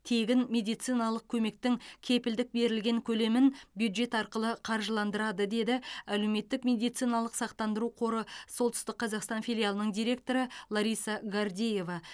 тегін медициналық көмектің кепілдік берілген көлемін бюджет арқылы қаржыландырады деді әлеуметтік медициналық сақтандыру қоры солтүстік қазақстан филиалының директоры лариса гордеева